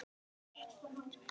Þín, Fanney.